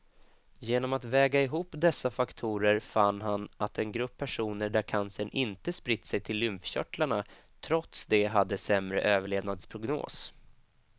Genom att väga ihop dessa faktorer fann han att en grupp personer där cancern inte spritt sig till lymfkörtlarna trots det hade sämre överlevnadsprognos.